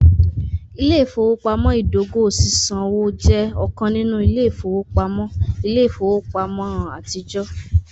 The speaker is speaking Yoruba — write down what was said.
Ile-ifowopamọ idogo sisanwo jẹ ọkan ninu ile-ifowopamọ ile-ifowopamọ atijọ.